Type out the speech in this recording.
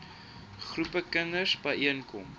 groepe kinders byeenkom